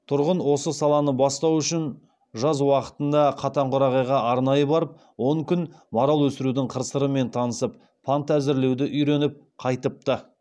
тұрғын осы саланы бастау үшін жаз уақытында катанқарағайға арнайы барып он күн марал өсірудің қыр сырымен танысып панта әзірлеуді үйреніп қайтыпты